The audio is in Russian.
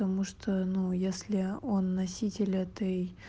тому что ну если он носитель этой